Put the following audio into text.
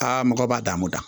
Aa mɔgɔ b'a dan ma